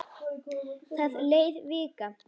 Það leið vika.